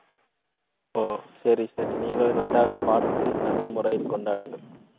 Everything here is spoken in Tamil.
ஓ, சரி, சரி. நீங்களும் நன்றாக பார்த்து நல்ல முறையில் கொண்டாடுங்கள்.